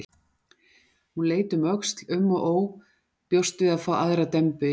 Hún leit um öxl, um og ó, bjóst við að fá aðra dembu yfir sig.